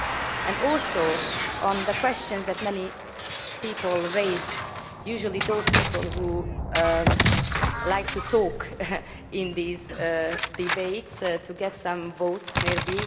I turn to the questions that many people raised usually those people who like to talk in these debates, to get some votes maybe.